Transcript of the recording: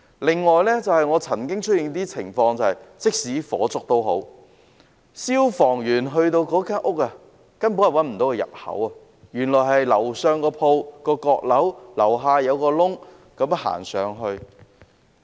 另外，曾經出現一些情況，便是即使發生火警，消防員到達有關單位，卻根本找不到入口，原來上層店鋪的閣樓須在下層一個入口走上去。